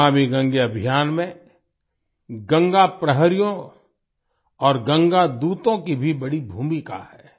नमामि गंगे अभियान में गंगा प्रहरियों और गंगा दूतों की भी बड़ी भूमिका है